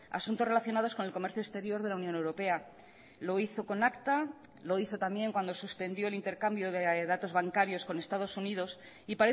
asuntos relacionados con el comercio exterior de la unión europea lo hizo con acta lo hizo también cuando suspendió el intercambio de datos bancarios con estados unidos y